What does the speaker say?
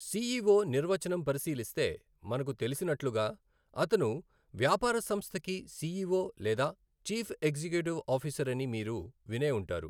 CEO నిర్వచనం పరిశీలిస్తే మనకు తెలిసినట్లుగా అతను వ్యాపారసంస్థకి సిఈఒ లేదా చీఫ్ ఎగ్జిక్యూటివ్ ఆఫీసర్ అని మీరు వినే ఉంటారు.